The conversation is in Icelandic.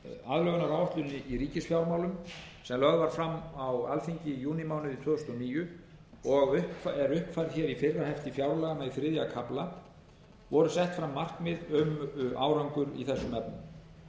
aðlögunaráætlun í ríkisfjármálum sem lögð var fram á alþingi í júnímánuði tvö þúsund og níu og er uppfærð hér í fyrra hefti fjárlaga með þriðja kafla voru sett fram markmið um árangur í þessum efnum